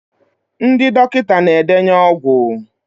ndị dọkịta na-edenye ọgwụ